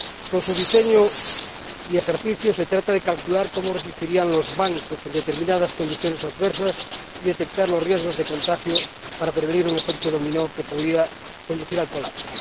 Con su diseño y ejecución, se trata de calcular cómo resistirían los bancos en determinadas condiciones adversas y detectar los riesgos de contagio para prevenir un efecto dominó que podría conducir al colapso.